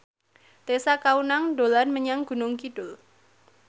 Tessa Kaunang dolan menyang Gunung Kidul